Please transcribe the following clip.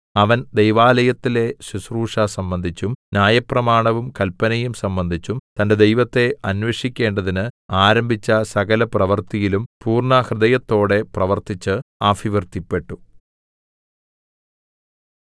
അവൻ ദൈവാലയത്തിലെ ശുശ്രൂഷ സംബന്ധിച്ചും ന്യായപ്രമാണവും കല്പനയും സംബന്ധിച്ചും തന്റെ ദൈവത്തെ അന്വേഷിക്കേണ്ടതിന് ആരംഭിച്ച സകലപ്രവൃത്തിയിലും പൂർണ്ണഹൃദയത്തോടെ പ്രവർത്തിച്ച് അഭിവൃദ്ധിപ്പെട്ടു